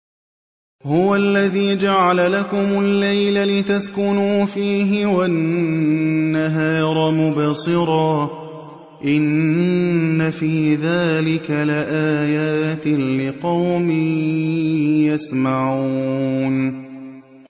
هُوَ الَّذِي جَعَلَ لَكُمُ اللَّيْلَ لِتَسْكُنُوا فِيهِ وَالنَّهَارَ مُبْصِرًا ۚ إِنَّ فِي ذَٰلِكَ لَآيَاتٍ لِّقَوْمٍ يَسْمَعُونَ